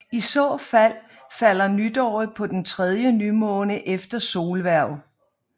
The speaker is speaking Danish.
I så fald falder nytåret på den tredje nymåne efter solhverv